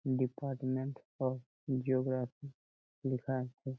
Department of geography লিখা আছে।